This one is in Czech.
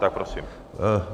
Tak prosím.